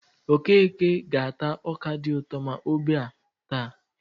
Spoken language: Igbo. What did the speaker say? Okeke ga-ata ọka dị ụtọ ma ọ ebe a taa.